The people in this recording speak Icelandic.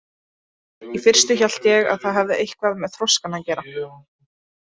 Í fyrstu hélt ég að það hefði eitthvað með þroskann að gera.